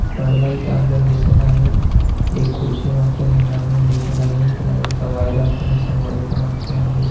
पडदा इथ आपल्याला दिसत आहे एक खुडची मागच्या साइडला आपल्याला दिसत आहे लाइट चा वायर इथ मागच्या साइडला आपल्याला दिसत आहे.